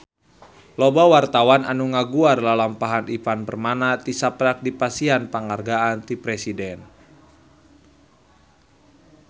Loba wartawan anu ngaguar lalampahan Ivan Permana tisaprak dipasihan panghargaan ti Presiden